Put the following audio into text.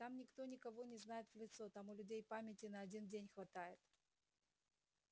там никто никого не знает в лицо там у людей памяти на один день хватает